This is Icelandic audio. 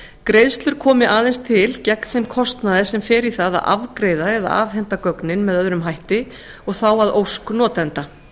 greiðslur komi aðeins til gegn þeim kostnaði sem fer í það að afgreiða eða afhenda gögnin með öðrum hætti og þá að ósk notenda